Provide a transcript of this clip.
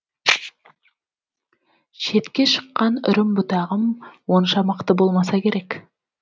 шетке шыққан үрім бұтағым онша мықты болмаса керек